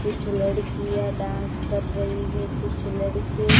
कुछ लड़कियां डांस कर रही है कुछ लड़के--